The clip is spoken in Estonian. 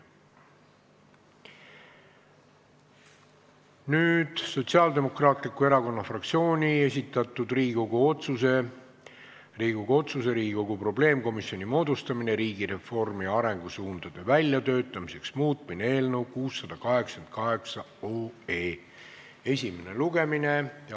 Nüüd Sotsiaaldemokraatliku Erakonna fraktsiooni esitatud Riigikogu otsuse "Riigikogu otsuse "Riigikogu probleemkomisjoni moodustamine riigireformi arengusuundade väljatöötamiseks" muutmine" eelnõu esimene lugemine.